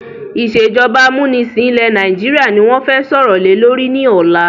Ìsèjọba amúnisìn ilẹ̀ Nàìjíríà ni wọn fẹ sọ̀rọ̀ lè lórí ni ọ̀la.